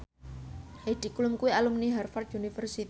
Heidi Klum kuwi alumni Harvard university